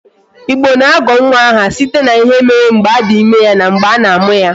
Igbo na-agọ nwa aha site n'ihe mere mgbe a dị ime ya na mgbe a na amụ ya